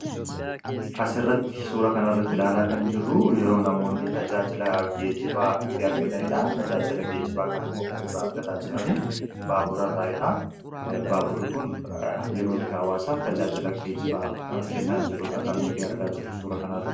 As irratti suura kana irratti ilaalaa kan jirru yeroo namoonni tajaajila geejibaa itti argataniidha. Tajaajila geejibaa kan ammuu kan irra argataa jiranii baaburaa irraadha. Baaburi kun yerootti hawaasaaf tajaajila geejibaa kennaa jirudha kan nuti argaa jiru suura kana irra.